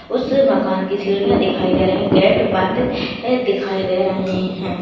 उस मकान की सीढ़िया दिखाई दे रही है गेट बंद है दिखाई दे रहे है।